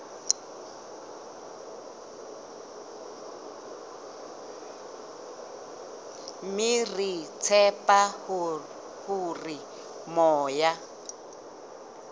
mme re tshepa hore moya